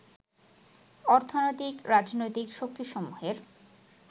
অর্থনৈতিক, রাজনৈতিক শক্তিসমূহের